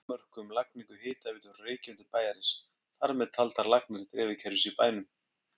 Danmörku um lagningu hitaveitu frá Reykjum til bæjarins, þar með taldar lagnir dreifikerfis í bænum.